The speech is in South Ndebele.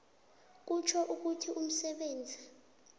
kutjho ukuthi umsebenzi